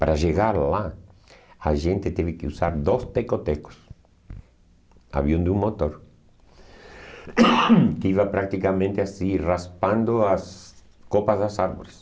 Para chegar lá, a gente teve que usar dois teco tecos, avião de um motor, que iam a praticamente assim raspando as copas dos árvores.